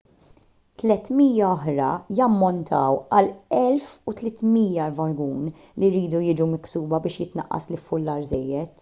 300 oħra jammontaw għal 1,300 vagun li jridu jiġu miksuba biex jitnaqqas l-iffullar żejjed